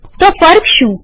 તો ફર્ક શું